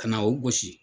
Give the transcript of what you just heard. Ka na o gosi